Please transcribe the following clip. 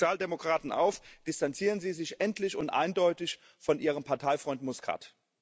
Ich rufe die Sozialdemokraten auf Distanzieren Sie sich endlich und eindeutig von ihrem Parteifreund Muscat!